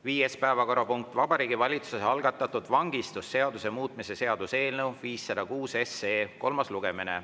Viies päevakorrapunkt: Vabariigi Valitsuse algatatud vangistusseaduse muutmise seaduse eelnõu 506 kolmas lugemine.